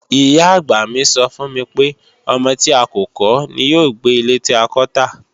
Ìyá-àgbà mi sọ fún mi pé, "ọmọ tí a kò kọ́ ní yóò gbé ilé tí a kọ́ tà"